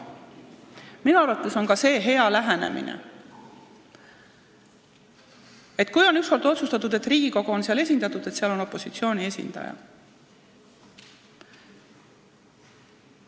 Minu arvates on see ka hea lähenemine, et kui on ükskord otsustatud, et Riigikogu on nõukogus esindatud, siis on seal just opositsiooni esindaja.